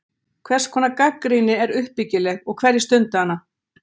Hvers konar gagnrýni er uppbyggileg og hverjir stunda hana?